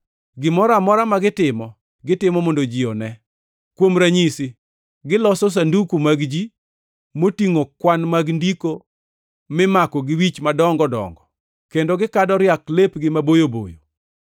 “Gimoro amora ma gitimo gitimo mondo ji one. Kuom ranyisi, giloso sanduku mag-gi motingʼo kwan mag ndiko mimako gi wich madongo dongo, kendo gikado riak lepgi maboyo boyo.